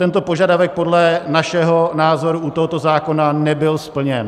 Tento požadavek podle našeho názoru u tohoto zákona nebyl splněn.